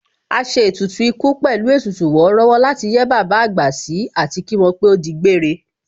A ṣe ètùtù ikú pẹ̀lú ètùtù wọ́rọ́wọ́ láti yẹ́ bàbá àgbà sí àti kí wọ́n pé ó di gbére